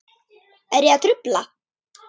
Er ég að trufla?